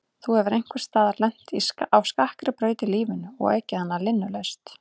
Þú hefur einhvers staðar lent á skakkri braut í lífinu og ekið hana linnulaust.